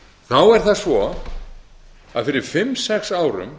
þá er það svo að fyrir fimm til sex árum